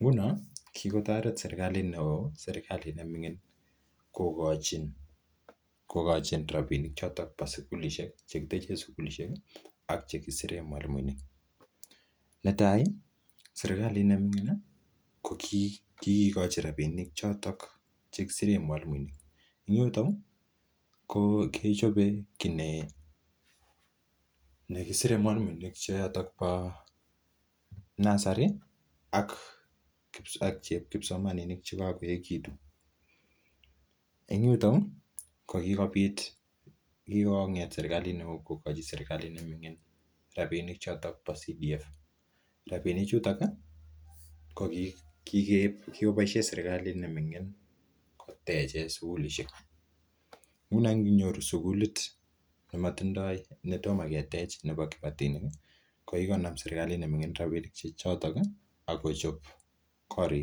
Nguno kigotoret serkalit neo serkalit ne ming'in kogochi rabini choto kitechen sugulisiek ak che kiseren mwalimuinik. Netai serkalit ne ming'in ko kigikochi rabinik choto kisiren mwalimuinik en yuto kechobe kit ne kisire mwalimuinik choto bo nursery ak kipsomaninik choto kagoechegitun. En yuto kokigobit, kigong'et serkalit neo kogochi serkalit ne ming'in rabinik choto bo CDF. Rabinichuto ko kigoboisie serkalit ne ming'in kotechen sugulishek. Nguno inyoru sugulit ne tomo ketech nebo kibatinik, ko kigonam serkalit ne ming'in rabinik che choto ak kochob korik.